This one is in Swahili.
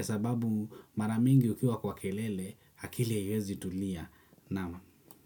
sababu mara nyingi ukiwa kwa kelele akili haiwezi kutulia. Naam.